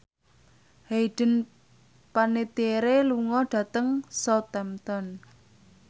Hayden Panettiere lunga dhateng Southampton